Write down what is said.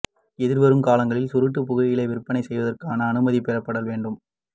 எதிர்வரும் காலங்களில் சுருட்டு புகையிலை விற்பனை செய்வதற்கான அனுமதி பெறப்படல் வேண்டும்